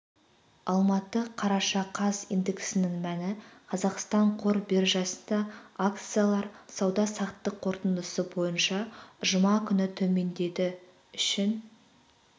алматы қараша қаз индексінің мәні қазақстан қор биржасында акциялар сауда-саттық қорытындысы бойынша жұма күні төмендеді үшін